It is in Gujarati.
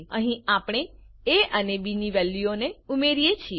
અહીં આપણે એ અને બી ની વેલ્યુઓને ઉમેરીએ છીએ